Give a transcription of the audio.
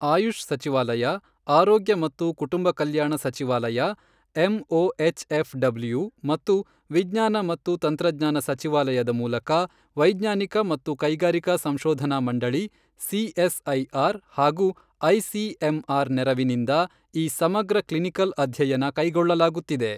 ಆಯುಷ್ ಸಚಿವಾಲಯ, ಆರೋಗ್ಯ ಮತ್ತು ಕುಟುಂಬ ಕಲ್ಯಾಣ ಸಚಿವಾಲಯ ಎಂಒಎಚ್ಎಫ್ ಡಬ್ಲ್ಯೂ ಮತ್ತು ವಿಜ್ಞಾನ ಮತ್ತು ತಂತ್ರಜ್ಞಾನ ಸಚಿವಾಲಯದ ಮೂಲಕ ವೈಜ್ಞಾನಿಕ ಮತ್ತು ಕೈಗಾರಿಕಾ ಸಂಶೋಧನಾ ಮಂಡಳಿ ಸಿಎಸ್ ಐಆರ್ ಹಾಗೂ ಐಸಿಎಂಆರ್ ನೆರವಿನಿಂದ ಈ ಸಮಗ್ರ ಕ್ಲಿನಿಕಲ್ ಅಧ್ಯಯನ ಕೈಗೊಳ್ಳಲಾಗುತ್ತಿದೆ.